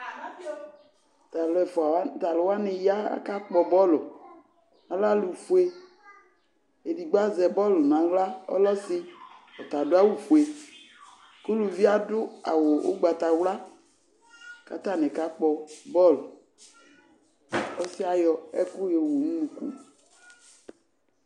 Tʋ alʋ ɛfʋ wa, tʋ alʋ wanɩ ya akakpɔ bɔl Alɛ alʋfue Edigbo azɛ bɔl nʋ aɣla, ɔlɛ ɔsɩ; ɔta adʋ awʋfue kʋ uluvi yɛ adʋ awʋ ʋgbatawla kʋ atanɩ kakpɔ bɔl Ɔsɩ yɛ yɔ ɛkʋ yɔwu nʋ unuku